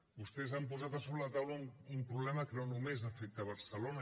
vostès han posat a sobre la taula un problema que no només afecta barcelona